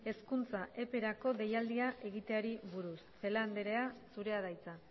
hezkuntza eperako deialdia egiteari buruz celaá andrea zurea da hitza